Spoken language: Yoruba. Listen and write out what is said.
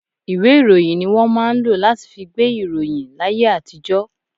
Ìwé ìròyìn ni wọn máa ń lọ láti fí gbé ìròyìn láyé àtijó.